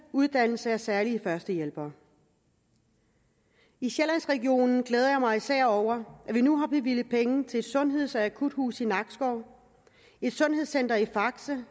uddannelse af særlige førstehjælpere i sjællandsregionen glæder jeg mig især over at vi nu har bevilget penge til et sundheds og akuthus i nakskov et sundhedscenter i faxe